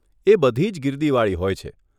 એ બધીજ ગીર્દીવાળી હોય છે.